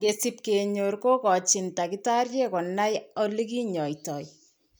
Ngesip kenyor kogachin Takitariek konai alegi nyaitoo